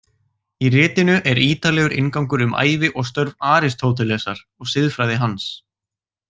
Í ritinu er ítarlegur inngangur um ævi og störf Aristótelesar og siðfræði hans.